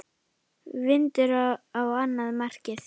Vindur á annað markið.